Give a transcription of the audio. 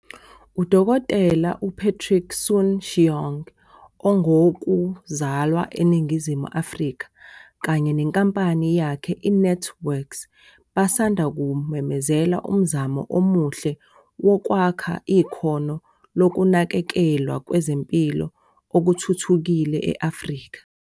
UDkt u-Patrick Soon-Shiong ongowoku zalwa eNingizimu Afrika kanye nenkampani yakhe i-NantWorks basanda kumemezela umzamo omuhle wokwakha ikhono lokunakekelwa kwezempilo okuthuthukile e-Afrika.